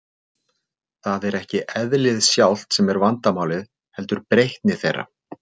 Það er ekki eðlið sjálft sem er vandamálið, heldur breytni þeirra.